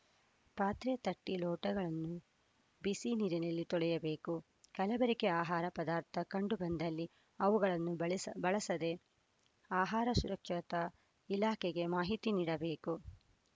ಪಾತ್ರೆ ತಟ್ಟೆ ಲೋಟಗಳನ್ನು ಬಿಸಿ ನೀರಿನಲ್ಲಿ ತೊಳೆಯಬೇಕು ಕಲಬೆರಕೆ ಆಹಾರ ಪದಾರ್ಥ ಕಂಡು ಬಂದಲ್ಲಿ ಅವುಗಳನ್ನು ಬಳಸ್ ಬಳಸದೆ ಆಹಾರ ಸುರಕ್ಷತಾ ಇಲಾಖೆಗೆ ಮಾಹಿತಿ ನೀಡಬೇಕು